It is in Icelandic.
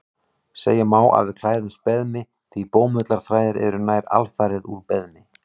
Segja má að við klæðumst beðmi því bómullarþræðir eru nær alfarið úr beðmi.